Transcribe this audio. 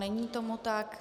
Není tomu tak.